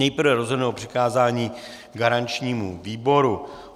Nejprve rozhodneme o přikázání garančnímu výboru.